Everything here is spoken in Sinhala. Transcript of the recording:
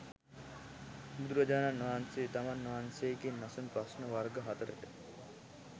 බුදුරජාණන් වහන්සේ තමන් වහන්සේගෙන් අසන ප්‍රශ්න වර්ග හතරකට